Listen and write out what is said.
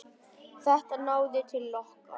Þetta náði til okkar.